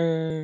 um.